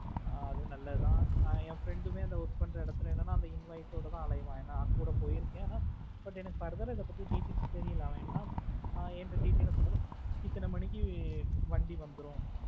ஆஹ் அதுவும் நல்லது தான் என் friend உமே அங்க work பண்ற இடத்துல என்னனா அந்த invoice ஓட தான் அலைவான் ஏன்னா கூட போய் இருக்கேன் but எனக்கு further ஆ இத பத்தி details தெரியல அவன் என்ன இந்த details உம் சொல்லல இத்தனை மணிக்கு வண்டி வந்துடும்